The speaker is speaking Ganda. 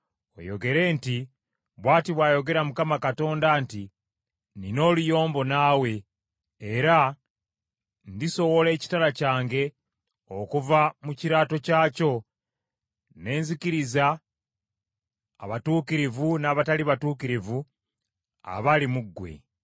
oyogere nti, ‘Bw’ati bw’ayogera Mukama Katonda nti, nnina oluyombo naawe, era ndisowola ekitala kyange okuva mu kiraato kyakyo ne nzikiriza abatuukirivu n’abatali batuukirivu abali mu ggwe.